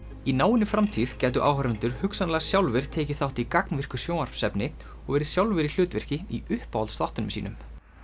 í náinni framtíð gætu áhorfendur hugsanlega sjálfir tekið þátt í gagnvirku sjónvarpsefni og verið sjálfir í hlutverki í uppáhaldsþáttunum sínum